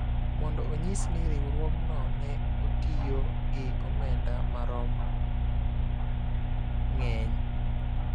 mondo onyis ni riwruogno ne otiyo gi omenda marom ng�eny